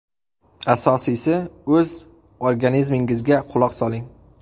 Asosiysi, o‘z organizmingizga quloq soling.